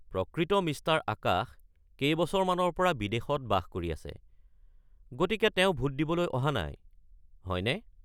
প্ৰকৃত মিষ্টাৰ আকাশ কেইবছৰমানৰ পৰা বিদেশত বাস কৰি আছে, গতিকে তেওঁ ভোট দিবলৈ অহা নাই, হয়নে?